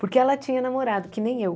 Porque ela tinha namorado, que nem eu.